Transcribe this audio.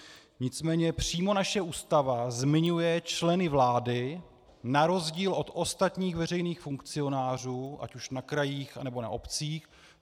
Nicméně přímo naše Ústava zmiňuje členy vlády na rozdíl od ostatních veřejných funkcionářů ať už na krajích, nebo na obcích.